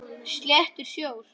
Sléttur sjór.